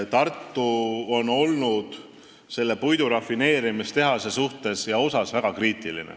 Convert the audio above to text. Tartu on olnud selle puidurafineerimistehase suhtes väga kriitiline.